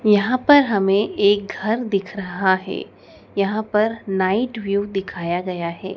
यहां पर हमें एक घर दिख रहा है यहां पर नाइट व्यू दिखाया गया है।